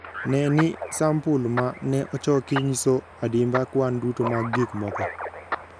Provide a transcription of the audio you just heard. Ne ni sampul ma ne ochoki nyiso adimba kwan duto mag gik moko.